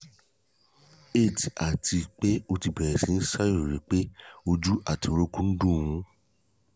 8 àti pé ó ti bẹ̀rẹ̀ sí í ṣàròyé pé ojú àtí orúnkún ń dùn-ún